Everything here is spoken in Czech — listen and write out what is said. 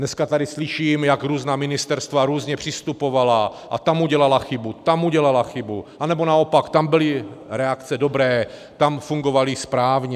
Dneska tady slyším, jak různá ministerstva různě přistupovala a tam udělala chybu, tam udělala chybu, nebo naopak tam byly reakce dobré, tam fungovaly správně.